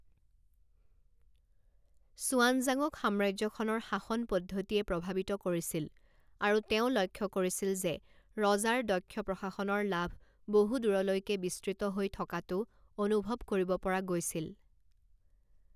ছুৱানজাঙক সাম্ৰাজ্যখনৰ শাসন পদ্ধতিয়ে প্ৰভাৱিত কৰিছিল আৰু তেওঁ লক্ষ কৰিছিল যে ৰজাৰ দক্ষ প্ৰশাসনৰ লাভ বহু দূৰলৈকে বিস্তৃত হৈ থকাটো অনুভৱ কৰিব পৰা গৈছিল।